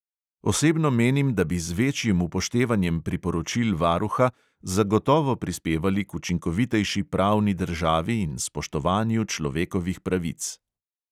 Osebno menim, da bi z večjim upoštevanjem priporočil varuha zagotovo prispevali k učinkovitejši pravni državi in spoštovanju človekovih pravic.